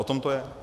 O tom to je.